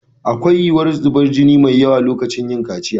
Akwai yiwuwar zubar da jini mai yawa a lokacin kaciya.